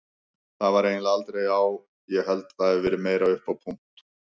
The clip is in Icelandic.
Það var eiginlega aldrei á, ég held það hafi verið meira upp á punt.